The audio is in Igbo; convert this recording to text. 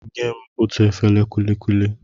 Nyem otú efere kulikuli!